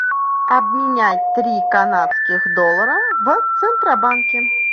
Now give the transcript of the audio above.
обменять три канадских доллара в центробанке